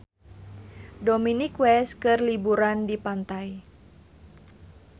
Dominic West keur liburan di pantai